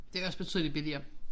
Det også betydeligt billigere